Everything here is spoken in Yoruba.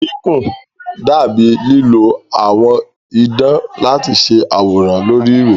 Kíkùn dà bíi lílo àwọ̀ idán láti ṣe àwòrán lórí ìwé.